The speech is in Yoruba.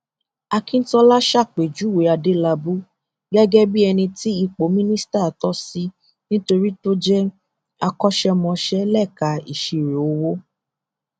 akíntola ṣàpèjúwe adélábù gẹgẹ bíi ẹni tí ipò mínísítà tò sí nítorí tó jẹ akọṣẹmọṣẹ léka ìṣírò owó